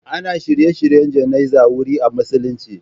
Ana shirye-shiryen jana'izar wuri a musulunci.